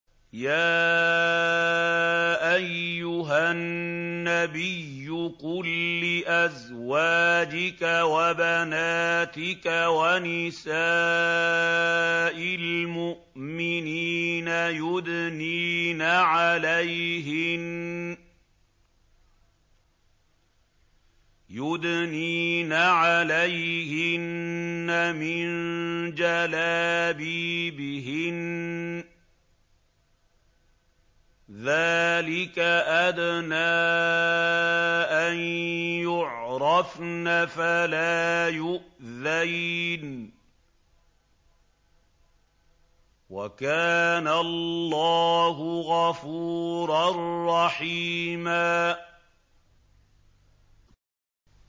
يَا أَيُّهَا النَّبِيُّ قُل لِّأَزْوَاجِكَ وَبَنَاتِكَ وَنِسَاءِ الْمُؤْمِنِينَ يُدْنِينَ عَلَيْهِنَّ مِن جَلَابِيبِهِنَّ ۚ ذَٰلِكَ أَدْنَىٰ أَن يُعْرَفْنَ فَلَا يُؤْذَيْنَ ۗ وَكَانَ اللَّهُ غَفُورًا رَّحِيمًا